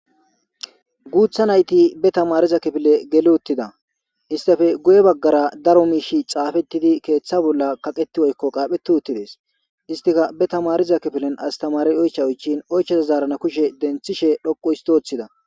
Guutha nayti be tamariza kifile gele uttida istafe goye baggara daro miishi xaafettidi keeththa bolla kaqeti woykko qaapheti uttides istika be tamariza kifilen astamari oycha oychin oycheza zaarana kushe denthishe dhoqu histothida